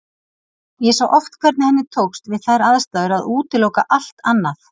Ég sá oft hvernig henni tókst við þær aðstæður að útiloka allt annað.